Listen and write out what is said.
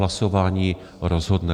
Hlasování rozhodne.